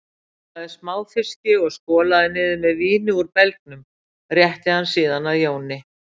Hann borðaði smáfiski og skolaði niður með víni úr belgnum, rétti hann síðan að Jóni